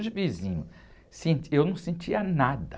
Os vizinhos, sent, eu não sentia nada.